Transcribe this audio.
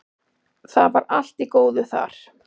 Það var allt í góðu þar.